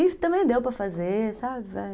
também deu para fazer, sabe?